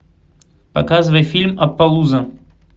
показывай фильм аппалуза